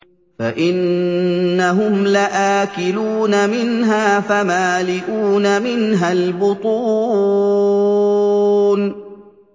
فَإِنَّهُمْ لَآكِلُونَ مِنْهَا فَمَالِئُونَ مِنْهَا الْبُطُونَ